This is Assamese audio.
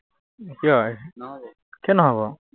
কিয় কিয় নহব?